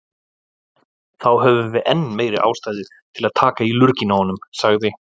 Þá höfum við enn meiri ástæðu til að taka í lurginn á honum, sagði